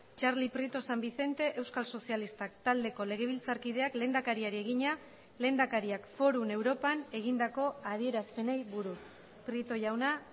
txarli prieto san vicente euskal sozialistak taldeko legebiltzarkideak lehendakariari egina lehendakariak forum europan egindako adierazpenei buruz prieto jauna